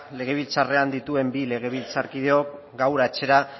legebiltzarrean dituen bi legebiltzarkideok gaur atzera